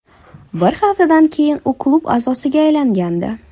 Bir haftadan keyin u klub a’zosiga aylangandi.